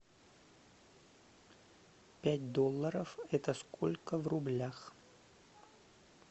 пять долларов это сколько в рублях